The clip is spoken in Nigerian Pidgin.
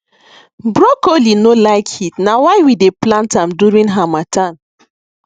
broccoli no like heat na why we dey plant am during harmattan